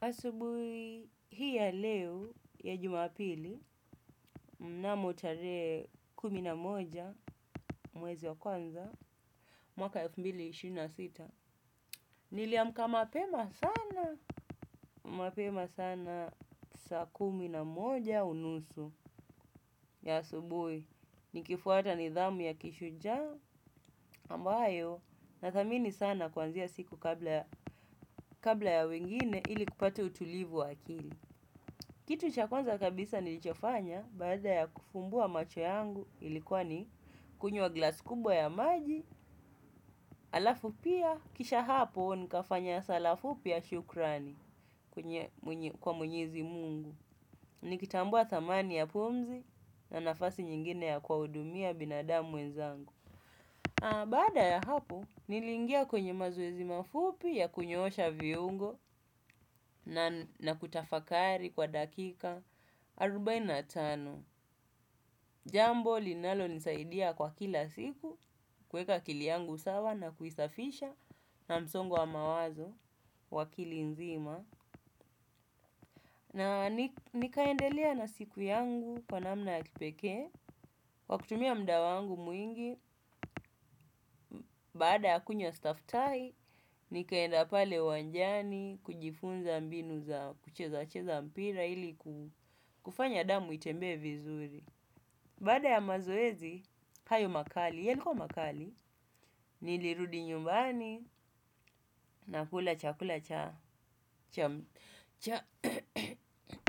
Asubui hii ya leo ya jumapili mnamotare kuminamoja mwezi wa kwanza mwaka elfu mbili na ishirini na sita. Niliamka mapema sana. Mapema sana sa kuminamoja unusu ya asubui. Nikifuata nidhamu ya kishuja ambayo na thamini sana kwanzia siku kabla ya wengine ili kupate utulivu wakili. Kitu chakwanza kabisa nilichofanya bada ya kufumbua macho yangu ilikuwa ni kunywa glas kubwa ya maji alafu pia kisha hapo nikafanya sala fupi ya shukrani kwa mwenyezi mungu. Nikitambua tamani ya pumzi na nafasi nyingine ya kuwa udumia binadamu wenzangu. Bada ya hapo, nilingia kwenye mazowezi mafupi ya kunyoosha viungo na kutafakari kwa dakika, arubainatano. Jambo, linalo nisaidia kwa kila siku, kweka kili yangu sawa na kuisafisha na msongo wa mawazo, wakili nzima. Na nikaendelea na siku yangu, kwa namna ya kipeke, wakutumia mda wangu mwingi. Baada ya kunyo staff tie, nikaenda pale uwanjani, kujifunza mbinu za kucheza mpira ili kufanya damu itembe vizuri. Baada ya mazoezi, hayo makali, ya likuwa makali, nilirudi nyumbani, na kula chakula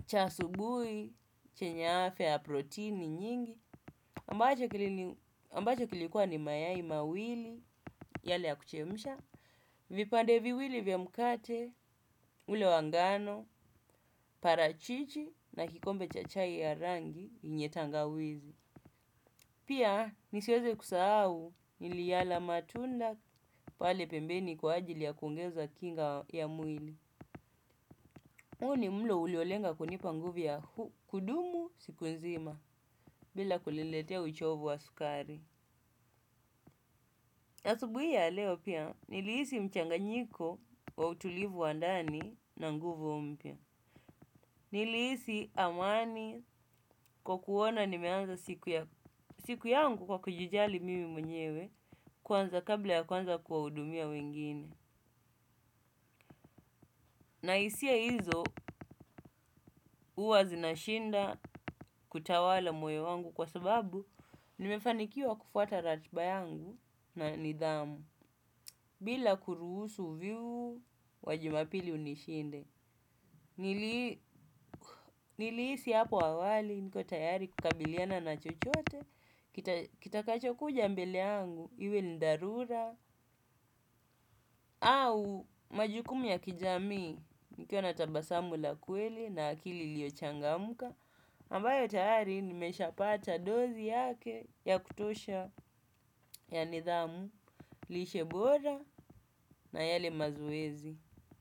cha asubuhi chenye afia ya proteini nyingi ambacho kilini ambache kilikuwa ni mayai mawili yale ya kuchemisha, vipande viwili vya mkate, ule wangano, parachichi na kikombe chachai ya rangi yenye tangawizi. Pia nisiweze kusa au niliala matunda pale pembeni kwa ajili ya kuongeza kinga ya mwili. Uo ni mlo uliolenga kunipa nguvu ya kudumu siku nzima bila kuliletea uchovu wa sukari. Asubuia ya leo pia niliisi mchanganyiko wa utulivu wandani na nguvu mpia. Niliisi amani kwa kuona nimeanza siku yangu kwa kujijali mimi mwenyewe kwanza kabla ya kwanza kwa udumia wengine. Na isia hizo uwa zinashinda kutawala moyo wangu kwa sababu nimefanikiwa kufuata ratba yangu na nidhamu. Bila kuruhusu uvivu wa jimapili unishinde. Nilisi hapo awali niko tayari kukabiliana na chochote. Kitakacho kuja mbeleangu iwe ni dharura. Au majukumu ya kijamii niko natabasambu la kweli na akili liochanga muka ambayo tayari nimeshapata dozi yake ya kutosha ya nidhamu lishe bora na yale mazoezi.